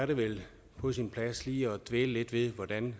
det vel på sin plads lige at dvæle lidt ved hvordan